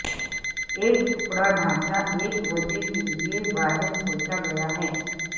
ایک ٹکڑا ڈھانچہ ایک وجہ کے لئے باہر سوچا گیا ہے